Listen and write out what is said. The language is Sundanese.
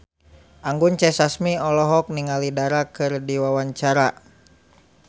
Anggun C. Sasmi olohok ningali Dara keur diwawancara